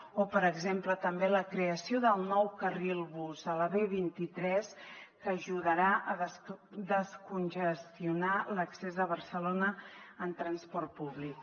o per exemple també la creació del nou carril bus a la b vint tres que ajudarà a descongestionar l’accés a barcelona en transport públic